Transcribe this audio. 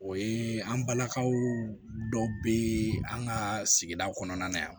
O ye an balakaw dɔw be an ka sigida kɔnɔna